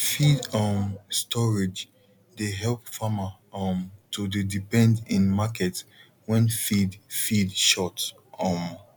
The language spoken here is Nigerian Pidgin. feed um storage dey help farmer um to dey depend in market when feed feed short um